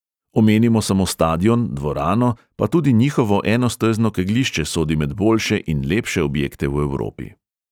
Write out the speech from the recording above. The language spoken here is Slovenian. Omenimo samo stadion, dvorano, pa tudi njihovo enostezno kegljišče sodi med boljše in lepše objekte v evropi.